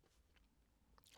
DR K